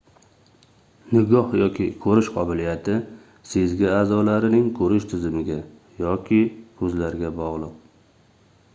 nigoh yoki koʻrish qobiliyati sezgi aʼzolarining koʻrish tizimiga yoki koʻzlarga bogʻliq